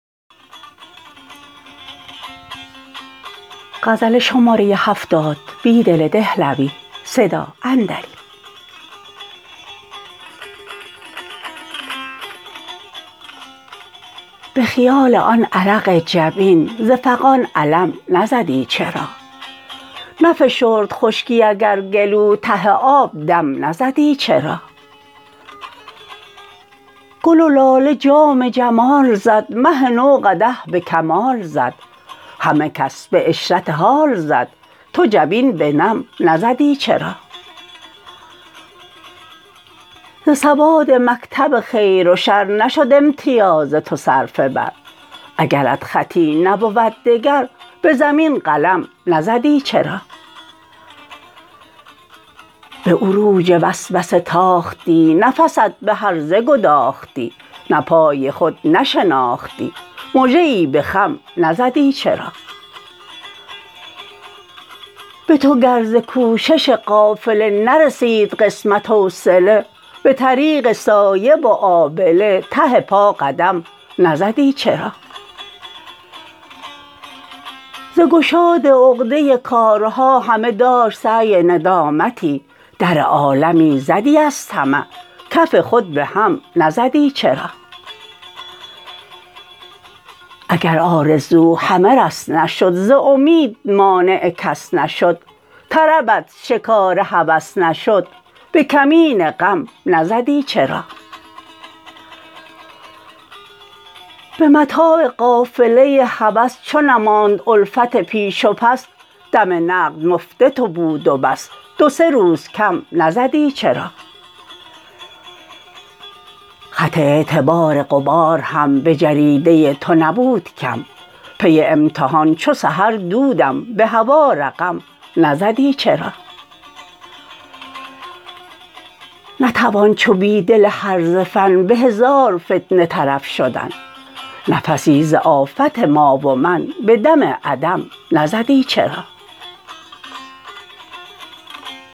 به خیال آن عرق جبین ز فغان علم نزدی چرا نفشرد خشکی اگر گلو ته آب دم نزدی چرا گل و لاله جام جمال زد مه نو قدح به کمال زد همه کس به عشرت حال زد تو جبین به نم نزدی چرا ز سواد مکتب خیر و شر نشد امتیاز تو صرفه بر اگرت خطی نبود دگر به زمین قلم نزدی چرا به عروج وسوسه تاختی نفست به هرزه گداختی ته پای خود نشناختی مژه ای به خم نزدی چرا به تو گر ز کوشش قافله نرسید قسمت حوصله به طریق سایه و آبله ته پا قدم نزدی چرا ز گشاد عقده کارها همه داشت سعی ندامتی در عالمی زدی از طمع کف خود به هم نزدی چرا اگر آرزو همه رس نشد ز امید مانع کس نشد طربت شکار هوس نشد به کمین غم نزدی چرا به متاع قافله هوس چو نماند الفت پیش و پس دم نقد مفت تو بود و بس دو سه روز کم نزدی چر ا خط اعتبار غبار هم به جریده تو نبود کم پی امتحان چو سحر دود به هوا رقم نزدی چرا نتوان چو بیدل هرزه فن به هزار فتنه طرف شدن نفسی ز آفت ما و من به در عدم نزدی چرا